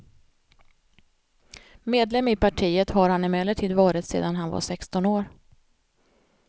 Medlem i partiet har han emellertid varit sedan han var sexton år.